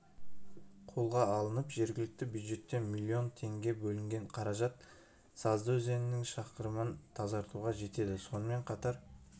қолға алынып жергілікті бюджеттен миллион теңге бөлінген қаражат сазды өзенінің шақырымын тазартуға жетеді сонымен қатар